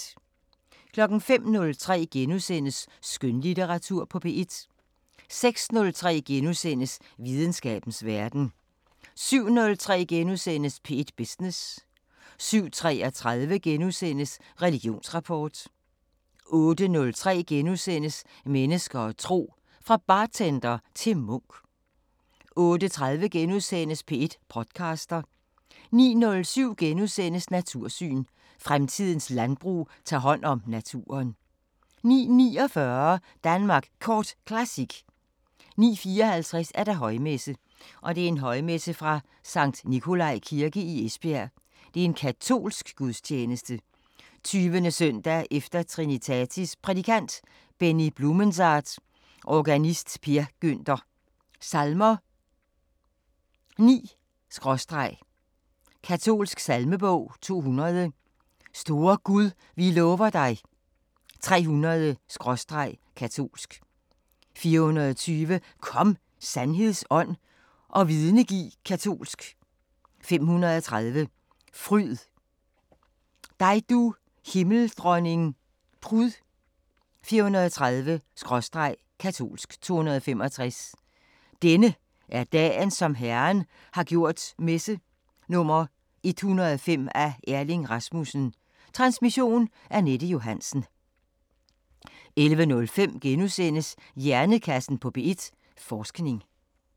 05:03: Skønlitteratur på P1 * 06:03: Videnskabens Verden * 07:03: P1 Business * 07:33: Religionsrapport * 08:03: Mennesker og tro: Fra bartender til munk * 08:30: P1 podcaster * 09:07: Natursyn: Fremtidens landbrug tager hånd om naturen * 09:49: Danmark Kort Classic 09:54: Højmesse - Højmesse fra Sct. Nicholai Kirke, Esbjerg. Katolsk Gudstjeneste. 20. s. e. Trinitatis Prædikant: Benny Blumensaat Organist: Per Günther Salmer: 9/ katolsk salmebog: 200: Store Gud vi lover dig 300/ katolsk: 420: Kom, Sandheds Ånd og vidne giv Katolsk: 530: Fryd, dig, du Himmeldronning prud 403/ katolsk 265: Denne er dagen, som Herren har gjort Messe nr. 105 af Erling Rasmussen. Transmission: Anette Johansen. 11:05: Hjernekassen på P1: Forskning *